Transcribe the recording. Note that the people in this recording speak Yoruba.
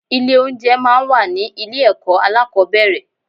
Ilé oúnjẹ máa ń wà ní ilé ẹ̀kọ́ alákọ̀ọ́bẹ̀rẹ̀.